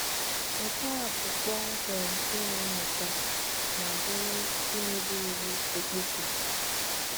Nke a bụ kpọmkwem ime nnyocha, ma bụrụ imebi iwụ okpukpe.